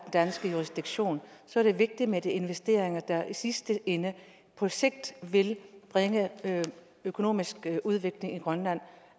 danske jurisdiktion er det vigtigt med de investeringer der i sidste ende og på sigt vil bringe økonomisk udvikling i grønland og